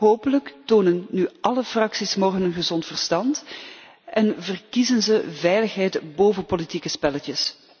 Hopelijk tonen nu álle fracties morgen hun gezond verstand en verkiezen zij veiligheid boven politieke spelletjes.